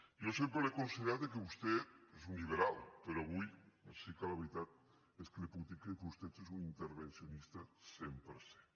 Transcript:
jo sempre he considerat que vostè és un lliberal però avui sí que la veritat és que li puc dir que vostè és un intervencionista cent per cent